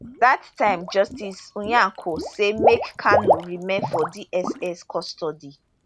dat time justice nyako say make kanu remain for dss custody